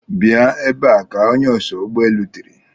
Bịa ebe a! ka onye oso ụgbọ elu tìrì.